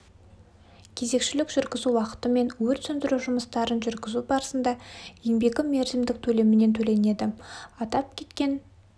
кезекшілік жүргізу уақыты мен өрт сөндіру жұмыстарын жүргізу барысында еңбегі мерзімдік төлемімен төленеді атап кеткен